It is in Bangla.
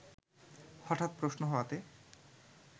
হঠাৎ প্রশ্ন হওয়াতে